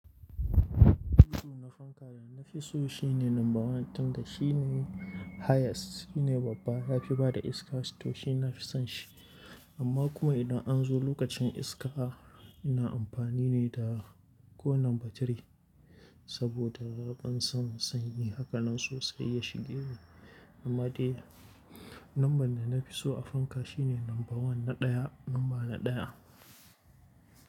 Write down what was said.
Duk na fanka da na fi so shine lamba ɗaya tunda shine highest shine babba ya fi bada iska to shi nafi son shi. Amma kuma idan an zo lokacin iska ina amfani ne da ko number three saboda ban son sanyi. Haka nan sosai ya shige ni. Anma dai number da na fi so a fanka shine lamba one na ɗaya, lamba na ɗaya.